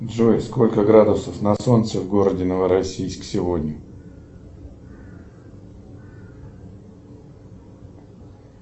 джой сколько градусов на солнце в городе новороссийск сегодня